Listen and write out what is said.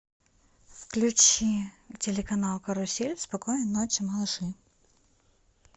включи телеканал карусель спокойной ночи малыши